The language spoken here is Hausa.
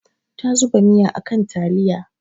Ta zuba miya a kan taliya.